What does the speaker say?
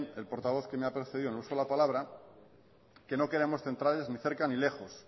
el portavoz que me ha precedido en el uso de la palabra que no queremos centrales ni cerca ni lejos